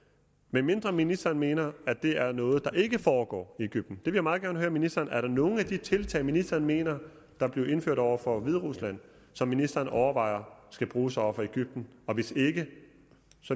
medmindre ministeren mener at det er noget der ikke foregår i egypten jeg vil meget gerne høre ministeren er der nogen af de tiltag ministeren mener blev indført over for hviderusland som ministeren overvejer skal bruges over for egypten og hvis ikke